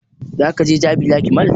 Za ka je jabi lake mall?